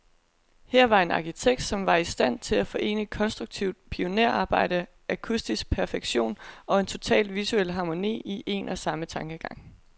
Her var en arkitekt, som var i stand til at forene konstruktivt pionerarbejde, akustisk perfektion, og en total visuel harmoni, i en og samme tankegang.